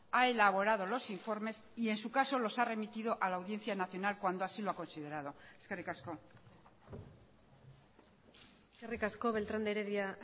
ha elaborado los informes y en su caso los ha remitido a la audiencia nacional cuando así lo ha considerado eskerrik asko eskerrik asko beltrán de heredia